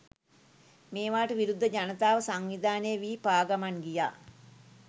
මේවාට විරුද්ධ ජනතාව සංවිධානය වී පා ගමන් ගියා.